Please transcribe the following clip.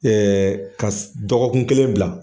kas dɔgɔkun kelen bila.